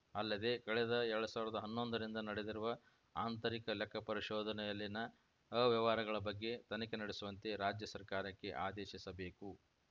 ಅಲ್ಲದೆ ಕಳೆದ ಎರಡ್ ಸಾವಿರದ ಹನ್ನೊಂದರಿಂದ ನಡೆದಿರುವ ಆಂತರಿಕ ಲೆಕ್ಕ ಪರಿಶೋಧನೆಯಲ್ಲಿನ ಅವ್ಯವಹಾರಗಳ ಬಗ್ಗೆ ತನಿಖೆ ನಡೆಸುವಂತೆ ರಾಜ್ಯ ಸರ್ಕಾರಕ್ಕೆ ಆದೇಶಿಸಬೇಕು